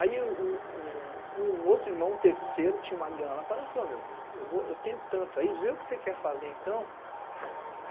Aí um um um um um outro irmão, um terceiro, tinha uma grana parada e falou, meu, eu eu vou, eu tenho tanto aí, vê o que você quer fazer então.